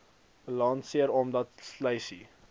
balanseer omdat sluise